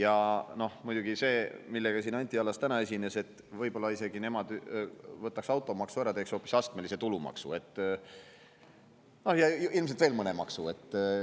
Anti Allas siin täna, et nemad isegi võib-olla automaksu ära ja teeks hoopis astmelise tulumaksu, ja ilmselt veel mõne maksu.